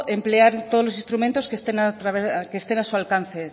emplear todos los instrumentos que estén a su alcance